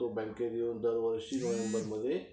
तो बँकेत येऊन दरवर्षी नोव्हेंबरमध्ये